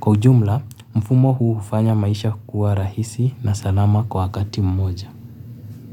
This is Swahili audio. Kwa ujumla, mfumo hu hufanya maisha kukuwa rahisi na salama kwa wakati mmoja.